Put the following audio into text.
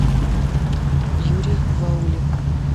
юрий ваулин